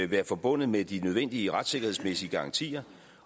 være forbundet med de nødvendige retssikkerhedsmæssige garantier